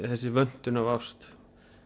þessi vöntun á ást